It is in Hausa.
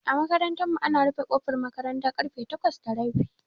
A makarantar mu ana rufe kofar makaranta karfe takwas da rabi